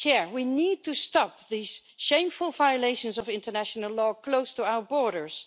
We need to stop these shameful violations of international law close to our borders.